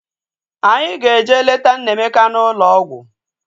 Anyị ga-eje leta Nnaemeka n'ụlọ ọgwụ